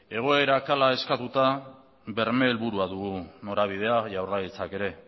ere egoerak hala eskatuta berme helburua dugu norabidea jaurlaritzak ere